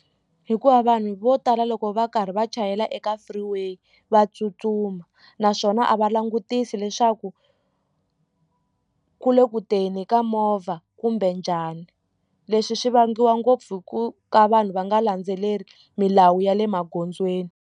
Hikuva vanhu vo tala loko va karhi va chayela eka free way va tsutsuma naswona a va langutisi leswaku ku le ku teni ka movha kumbe njhani leswi swi vangiwa ngopfu hi ku ka vanhu va nga landzeleli milawu ya le magondzweni.